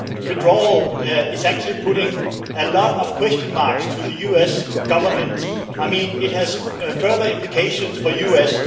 withdrawal is actually placing a lot of question marks over the US government it has further implications for the US.